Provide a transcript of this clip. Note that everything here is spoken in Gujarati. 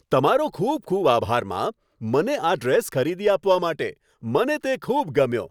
તમારો ખૂબ ખૂબ આભાર, મા! મને આ ડ્રેસ ખરીદી આપવા માટે, મને તે ખૂબ ગમ્યો.